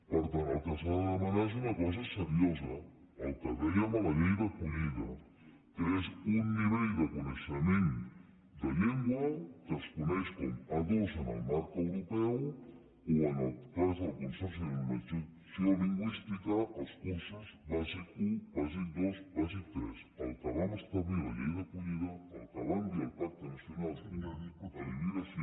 per tant el que s’ha de demanar és una cosa seriosa el que dèiem a la llei d’acollida que és un nivell de co·neixement de llengua que es coneix com a a·dos en el marc europeu o en el cas del consorci de normalit·zació lingüística els cursos bàsic un bàsic dos bàsic tres el que vam establir a la llei d’acollida el que vam dir al pacte nacional per a la immigració